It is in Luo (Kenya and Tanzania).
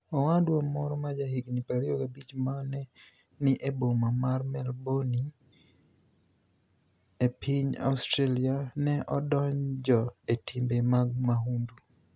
Owadwa moro ma jahignii 25 ma ne ni e boma mar Melbourni e, e piniy Australia, ni e odonijo e timbe mag mahunidu.